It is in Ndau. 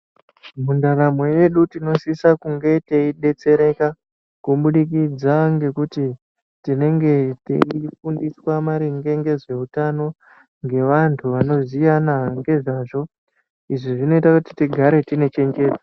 Mundaramo yedu tinosisa kunga teidetsereka kubudikidza ngekuti tinenge teifundiswa maringe ngezveutano ngevantu vanoziyana ngezvavo izvi zvinoita tigare tine chenjedzo.